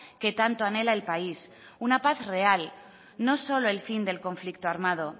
que tanto anhela el país una paz real no solo el fin del conflicto armado